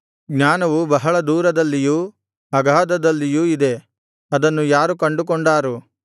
ಜ್ಞಾನವು ಬಹಳ ದೂರದಲ್ಲಿಯೂ ಅಗಾಧದಲ್ಲಿಯೂ ಇದೆ ಅದನ್ನು ಯಾರು ಕಂಡುಕೊಂಡಾರು